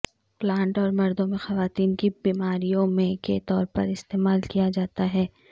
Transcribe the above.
plant اور مردوں میں خواتین کی بیماریوں میں کے طور پر استعمال کیا جاتا ہے